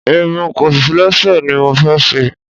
Irun kọ̀lẹ́sẹ̀ ni mo fẹ́ ṣe.